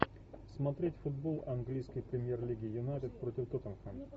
смотреть футбол английской премьер лиги юнайтед против тоттенхэм